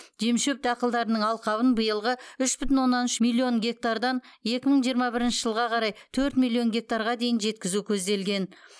жемшөп дақылдарының алқабын биылғы үш бүтін оннан үш миллион гектардан екі мың жиырма бірінші жылға қарай төрт миллион гектарға дейін жеткізу көзделген